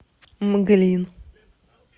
мглин